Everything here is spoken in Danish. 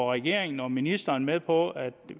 regeringen og ministeren med på at